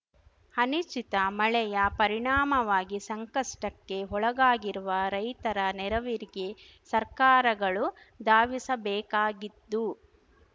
ಅನಿಶ್ಚಿತ ಮಳೆಯ ಪರಿಣಾಮವಾಗಿ ಸಂಕಷ್ಟಕ್ಕೆ ಒಳಗಾಗಿರುವ ರೈತರ ನೆರವಿಗೆ ಸರ್ಕಾರಗಳು ಧಾವಿಸಬೇಕಾಗಿದ್ದು